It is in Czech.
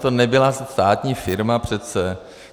To nebyla státní firma přece.